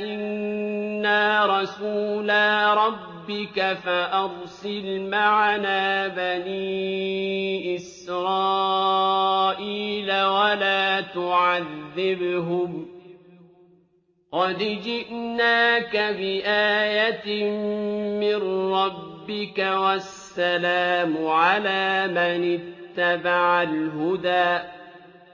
إِنَّا رَسُولَا رَبِّكَ فَأَرْسِلْ مَعَنَا بَنِي إِسْرَائِيلَ وَلَا تُعَذِّبْهُمْ ۖ قَدْ جِئْنَاكَ بِآيَةٍ مِّن رَّبِّكَ ۖ وَالسَّلَامُ عَلَىٰ مَنِ اتَّبَعَ الْهُدَىٰ